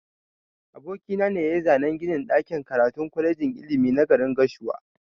Aboki na ne yayi zanan ginin ɗakin karatun kwalejin ilimi na garin gashua.